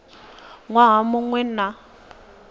waha mu ṅ we na